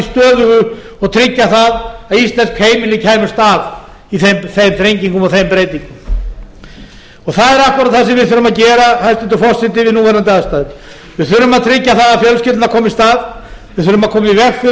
stöðugu og tryggja það að íslensk heimili kæmust af í þeim þrengingum og þeim breytingum það er akkúrat það sem við þurfum að gera hæstvirtur forseti við núverandi aðstæður við þurfum að tryggja það að fjölskyldan komist af við þurfum að